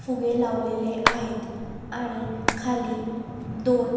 फुगे लावलेले आहेत आणि खाली दोन--